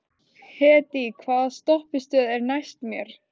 Hedí, hvaða stoppistöð er næst mér?